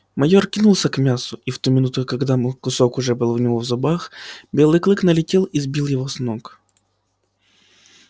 майор кинулся к мясу и в ту минуту когда кусок уже был у него в зубах белый клык налетел и сбил его с ног